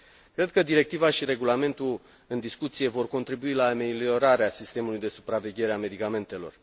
Cred că directiva și regulamentul în discuție vor contribui la ameliorarea sistemului de supraveghere a medicamentelor.